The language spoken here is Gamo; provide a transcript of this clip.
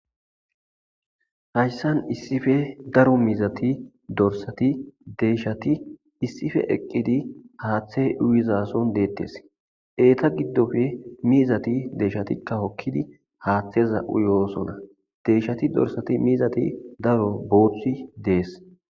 hayssan issife daro mizati dorsati deshati issife eqqidi haaththe uyizason deettes eeta giddofe miizati deshatikka hokkidi haaththeza7uyoosona deyshati dorsati mizati daro booththi dees